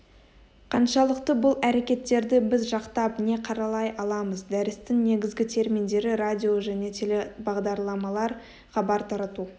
қаншалықты бұл әрекеттерді біз жақтап не қаралай аламыз дәрістің негізгі терминдері радио және телебағдарламалар хабар тарату